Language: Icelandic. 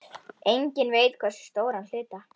Enginn veit hversu stóran hluta.